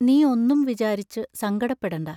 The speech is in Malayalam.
നീ ഒന്നും വിചാരിച്ചു സങ്കടപ്പെടണ്ട.